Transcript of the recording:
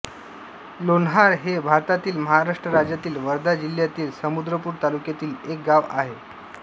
लोन्हार हे भारतातील महाराष्ट्र राज्यातील वर्धा जिल्ह्यातील समुद्रपूर तालुक्यातील एक गाव आहे